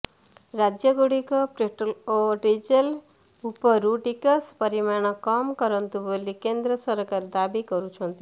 ରାଜ୍ୟଗୁଡ଼ିକ ପେଟ୍ରୋଲ୍ ଓ ଡିଜେଲ୍ ଉପରୁ ଟିକସ ପରିମାଣ କମ୍ କରନ୍ତୁ ବୋଲି କେନ୍ଦ୍ର ସରକାର ଦାବି କରୁଛନ୍ତି